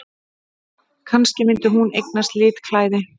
Kannski myndi hún eignast litklæði!